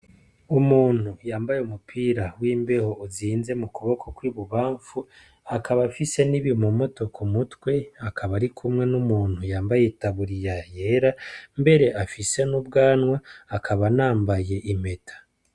Umuntu yambaye umupira w'imbeho uzinze mu kuboko kw'ibubamfu akaba afise n'ibimomoto k'umutwe akaba ari kumwe n'umuntu yambaye itaburiya yera mbere afise n'ubwanwa akaba anambaye impeta.